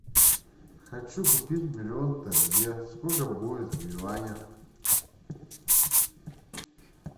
хочу купить миллион тенге сколько будет в юанях